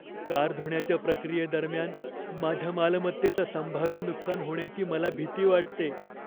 Car धुण्याच्या प्रक्रियेदरम्यान माझ्या मालमत्तेचं संभाव्य नुकसान होण्याची मला भीती वाटते.